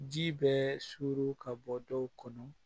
Ji bɛɛ surun ka bɔ dɔw kɔnɔ